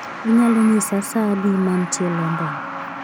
Inyalo nyisa sa adi mantie London?